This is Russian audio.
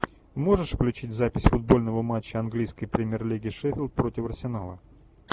можешь включить запись футбольного матча английской премьер лиги шеффилд против арсенала